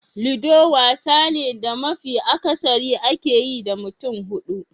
Ludo wasa ne da mafi akasari ake yi da mutum hudu.